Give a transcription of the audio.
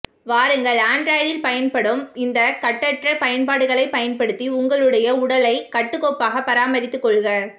வாருங்கள் ஆண்ட்ராய்டில் பயன்படும் இந்த கட்டற்ற பயன்பாடுகளை பயன்படுத்தி உங்களுடைய உடலைகட்டுகோப்பாக பராமரித்து கொள்க